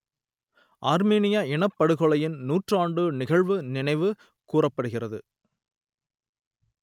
ஆர்மீனிய இனப்படுகொலையின் நூற்றாண்டு நிகழ்வு நினைவு கூறப்படுகிறது